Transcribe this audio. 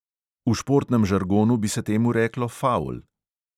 V športnem žargonu bi se temu reklo favl.